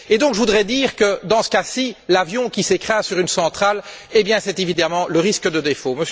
Et donc, je voudrais dire que dans ce cas ci, l'avion qui s'écrase sur une centrale, c'est évidemment le risque de défaut.